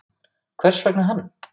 Hvers vegna hann?